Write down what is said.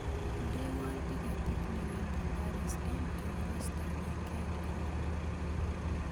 Indewon tiketit newendi paris en eurostar wikend ini